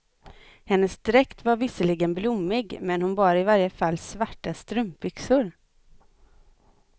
Hennes dräkt var visserligen blommig, men hon bar i varje fall svarta strumpbyxor.